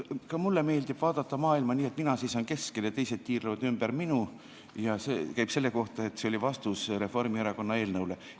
Ka mulle meeldib vaadata maailma nii, et mina seisan keskel ja teised tiirlevad ümber minu – see käib väite kohta, et meie eelnõu oli vastus Reformierakonna eelnõule.